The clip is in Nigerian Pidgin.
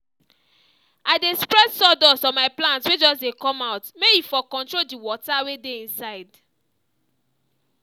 i dey spread sawdust on my plants wey just dey come out may e for control the water wey dey inside